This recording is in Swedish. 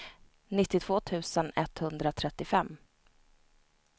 nittiotvå tusen etthundratrettiofem